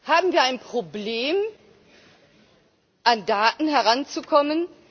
Haben wir ein Problem, an Daten heranzukommen?